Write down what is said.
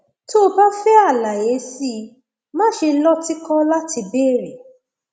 tó o bá fẹ àlàyé sí i máṣe lọtìkọ láti béèrè